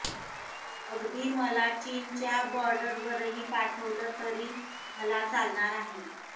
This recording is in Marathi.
अगदी मला चीनच्या बॉर्डरवरही पाठवलं तरी मला चालणार आहे